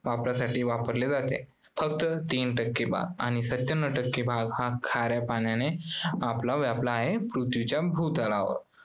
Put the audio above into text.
वापरासाठी वापरले जाते. फक्त तीन टक्के भाग आणि सत्यांनव टक्के हा भाग खाऱ्या पाण्याने आपल्या व्यापला आहे आपल्या पृथ्वीच्या भूतलावर.